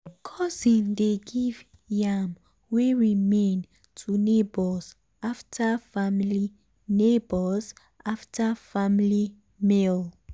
cousin dey give yam wey remain to neighbours after family neighbours after family meal.